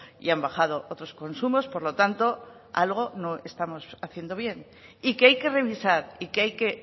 y han bajado otros consumos por lo tanto algo no estamos haciendo bien y que hay que revisar y que hay que